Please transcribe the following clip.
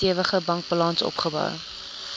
stewige bankbalans opgebou